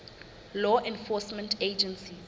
law enforcement agencies